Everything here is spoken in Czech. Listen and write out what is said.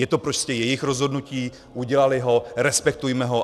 Je to prostě jejich rozhodnutí, udělali ho, respektujme ho.